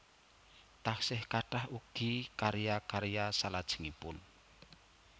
Taksih kathah ugi karya karya salajengipun